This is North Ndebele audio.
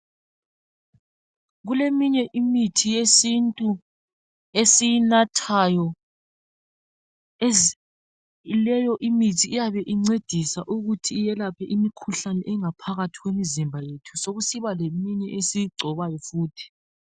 Kuleminye imithi yesintu esiyinathayo leyo imithi iyabe incedisa ukuthi iyelaphe imikhuhlane engaphakathi kwemizimba yethu sekusiba leminye esiyigcobayo futhi.